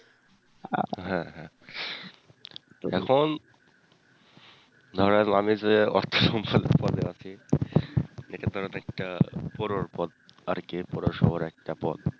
হ্যাঁ হ্যাঁ এখন ধরেন আমি যে অর্থ সম্পাদক পদে আছি এটা ধরেন একটা পদ আর কি বড় শহরের একটা পদ,